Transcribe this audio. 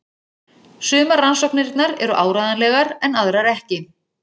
Sumar rannsóknirnar eru áreiðanlegar en aðrar ekki.